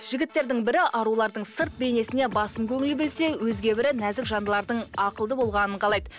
жігіттердің бірі арулардың сырт бейнесіне басым көңіл бөлсе өзге бірі нәзік жандылардың ақылды болғанын қалайды